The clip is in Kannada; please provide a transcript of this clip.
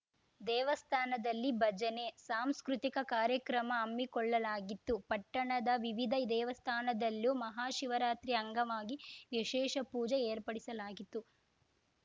ದೇವಸ್ಥಾನದಲ್ಲಿ ಭಜನೆ ಸಾಂಸ್ಕೃತಿಕ ಕಾರ್ಯಕ್ರಮ ಹಮ್ಮಿಕೊಳ್ಳಲಾಗಿತ್ತು ಪಟ್ಟಣದ ವಿವಿಧ ದೇವಸ್ಥಾನದಲ್ಲೂ ಮಹಾ ಶಿವರಾತ್ರಿಯ ಅಂಗವಾಗಿ ವಿಶೇಷ ಪೂಜೆ ಏರ್ಪಡಿಸಲಾಗಿತ್ತು